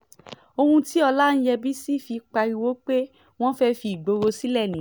ohun tí ọláyẹ́ǹbẹ̀sì fi pariwo pé wọ́n fẹ́ẹ́ fi ìgboro sílẹ̀ nìyẹn